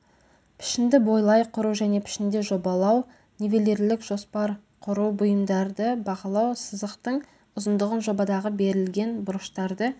пішінді бойлай құру және пішінде жобалау нивелирлік жоспар құру бұйымдарды бағалау сызықтың ұзындығын жобадағы берілген бұрыштарды